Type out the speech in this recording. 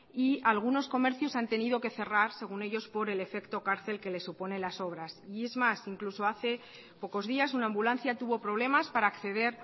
y algunos comercios han tenido que cerrar según ellos por el efecto cárcel que les supone las obras y es más incluso hace pocos días una ambulancia tuvo problemas para acceder